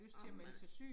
Ej men